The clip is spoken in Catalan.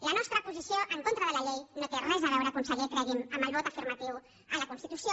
la nostra posició en contra de la llei no té res a veure conseller cregui’m amb el vot afirmatiu a la constitució